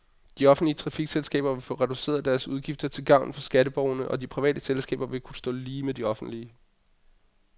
De offentlige trafikselskaber vil få reduceret deres udgifter til gavn for skatteborgerne, og de private selskaber vil kunne stå lige med de offentlige.